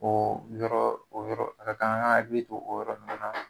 O yɔrɔ o yɔrɔ a ka kan an ka hakili to o yɔrɔ ninnu na.